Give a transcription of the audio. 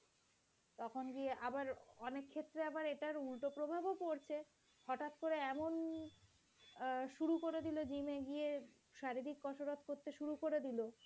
তখন গিয়ে আবার অনেক ক্ষেত্রে এরা আবার উল্টো প্রভাব পড়ছে, হঠাৎ করে এমন অ্যাঁ শুরু করে দিল যে gym এ গিয়ে শারীরিক কসরত করতে শুরু করে দিল,